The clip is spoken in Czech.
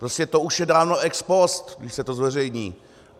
Prostě to už je dáno ex post, když se to zveřejní.